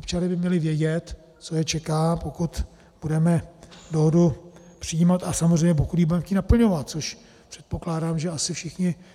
Občané by měli vědět, co je čeká, pokud budeme dohodu přijímat a samozřejmě pokud ji budeme chtít naplňovat, což předpokládám, že asi